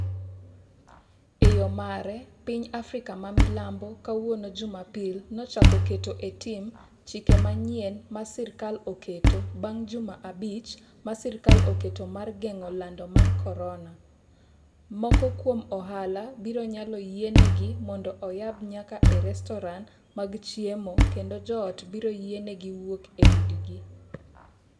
E yo mare, piny Afrika ma milambo kawuono Jumapil nochako keto e tim chike manyien ma sirkal oketo bang’ juma abich ma sirkal oketo mar geng’o lando mar korona Moko kuom ohala biro nyalo yienegi mondo oyab nyaka e restoran mag chiemo kendo joot biro yienegi wuok e udigi.